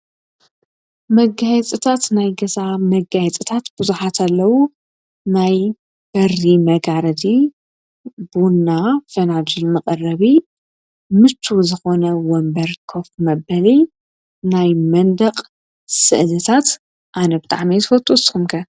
መጋየፅታት ናይ ገዛ መጋየፅታት በዙሓት ኣለዉ፡፡ ናይ በሪ መጋረዲ ፣ቡና ፈናጅል መቀረቢ፣ ምቹው ዝኮነ ወንበር ኮፍ መበሊ ናይ መንደቅ ስእልታት ኣነ ብጣዕሚ እየ ዝፈቱ ንስኩም ከ?